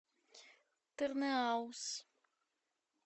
тырныауз